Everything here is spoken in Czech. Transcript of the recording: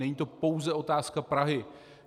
Není to pouze otázka Prahy.